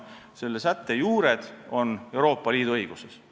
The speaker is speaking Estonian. Selle sätte juured on Euroopa Liidu õiguses.